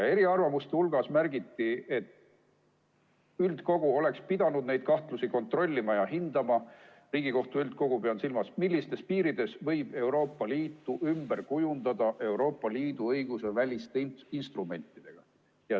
Eriarvamuste hulgas märgiti, et üldkogu – pean silmas Riigikohtu üldkogu – oleks pidanud neid kahtlusi kontrollima ja hindama, millistes piirides võib Euroopa Liitu ümber kujundada Euroopa Liidu õiguse väliste instrumentidega.